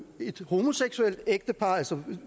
et homoseksuelt ægtepar altså